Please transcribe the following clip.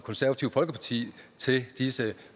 konservative folkeparti til disse